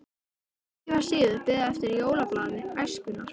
Ekki var síður beðið eftir jólablaði Æskunnar.